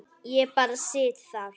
Ég bara sit þar.